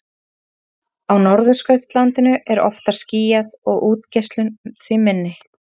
á norðurskautinu er oftar skýjað og útgeislun því minni